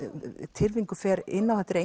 Tyrfingur fer inn á þetta eru